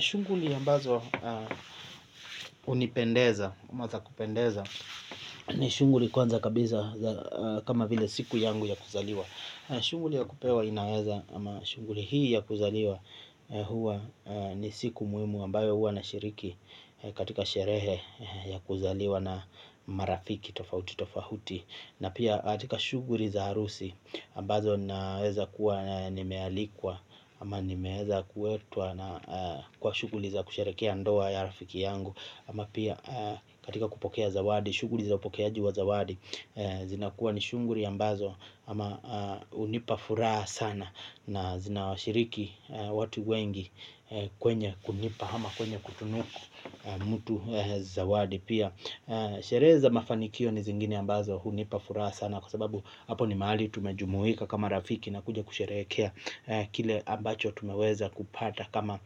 Shunguli ambazo unipendeza, ama za kupendeza ni shunguli kwanza kabisa kama vile siku yangu ya kuzaliwa. Shunguli ya kupewa inaweza ama shunguli hii ya kuzaliwa huwa ni siku muimu ambayo huwa na shiriki katika sherehe ya kuzaliwa na marafiki tofauti tofauti. Na pia hatika shuguri za arusi ambazo naweza kuwa nimealikwa ama nimeeza kuetwa na kwa shuguri za kusherekea andoa ya rafiki yangu. Ama pia katika kupokea zawadi shuguri za upokeaji wa zawadi zina kuwa ni shuguri ambazo ama unipafuraha sana na zinashiriki watu wengi kwenye kunipa au kwenye kutunuku zxawadi pia sherehe za mafanikio ni zingine ambazo hunipa furaha sana kwa sababu hapi nimahali tumejmuika kama rafiki na kuja kusherehekea kile ambacho tumekuja kupata kama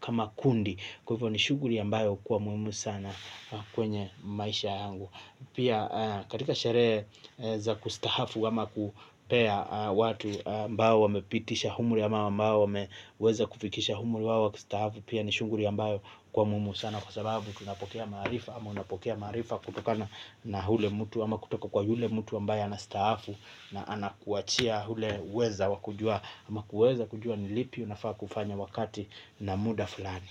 kama kundi. Kwa hivyo ni shuguri ambayo kuwa muimu sana kwenye maisha yangu. Pia katika shereza kustahafu wama kupea watu ambayo wamepitisha humuri ama wamba wameweza kufikisha humri wawa kistahafu pia ni shunguri ambayo kwa mumu sana kwa sababu tunapokea marifa ama unapokea marifa kutokana na hule mutu ama kutoka kwa yule mutu ambayo anastahafu na anakuachia hule uweza wakujua ama kuweza kujua nilipi unafaa kufanya wakati na muda fulani.